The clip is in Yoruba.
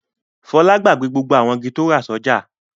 Fọlá gbàgbé àwọn igi tí ó rà sọ́jà.